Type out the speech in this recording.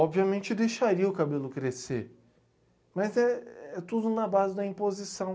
Obviamente deixaria o cabelo crescer, mas é é tudo na base da imposição.